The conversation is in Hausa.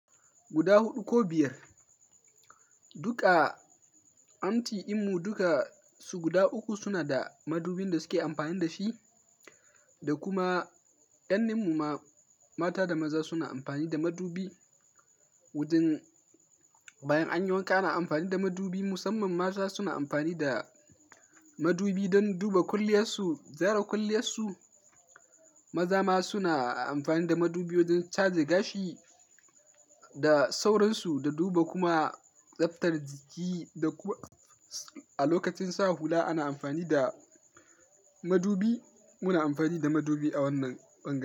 Guda huɗu ko biyar. Duka anti, ɗinmu duka su guda uku suna da madubin da suke amfani da shi, da kuma ƙannen muma mata da maza suna amfani da madubi. Wajen bayan anyi wanka ana amfani da madubi. Musamman mata suna amfani da madubi don duba kwalliyarsu, gyara kwalliyarsu. Maza ma suna amfani da madubi wajen caje gashi da sauransu, da duba kuma tsaftar jiki, da kuma a lokacin sa hula ana amfani da madubi. Muna amfani da madubi a wannan ɓangare.